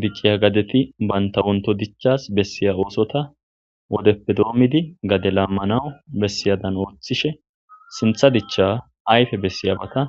dicciya gadeti bantawonto dichas bessiya oosota wodeppe doommidi gade laammanawu bessiyadan ooththishe sintha dicha ayfe bessiyabata